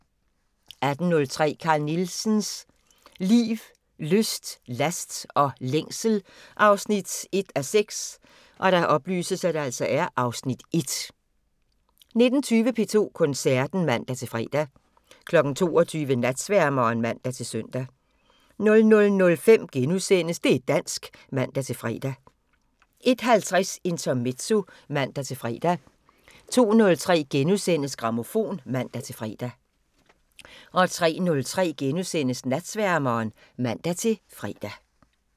18:03: Carl Nielsens liv, lyst, last og længsel 1:6 (Afs. 1) 19:20: P2 Koncerten (man-fre) 22:00: Natsværmeren (man-søn) 00:05: Det' dansk *(man-fre) 01:50: Intermezzo (man-fre) 02:03: Grammofon *(man-fre) 03:03: Natsværmeren *(man-fre)